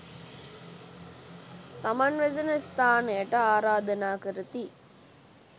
තමන් වෙසෙන ස්ථානයට ආරාධනා කරති.